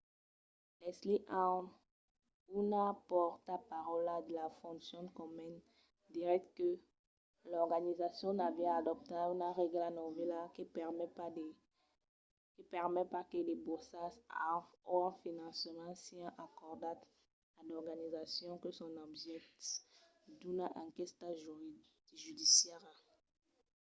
leslie aun una pòrtaparaula de la fondacion komen diguèt que l'organizacion aviá adoptat una règla novèla que permet pas que de borsas o un finançament sián acordats a d'organizacions que son objèctes d'una enquèsta judiciària